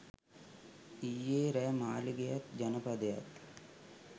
ඊයෙ රෑ මාළිගයත් ජනපදයත්